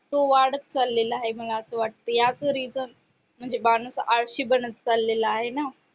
तो वाढत चाललेला आहे मला असं वाटतं याच reason म्हणजे माणूस आळशी बनत चाललेला आहे ना